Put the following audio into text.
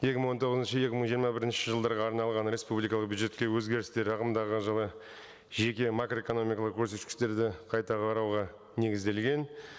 екі мың он тоғызыншы екі мың жиырма бірінші жылдарға арналған республикалық бюджетке өзгерістер ағымдағы жылы жеке макроэкономикалық көрсеткіштерді қайта қарауға негізделген